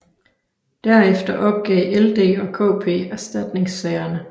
Derefter opgav LD og KP erstatningssagerne